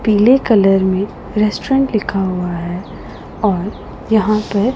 पीले कलर में रेस्टुरेंट लिखा हुआ है और यहां पर--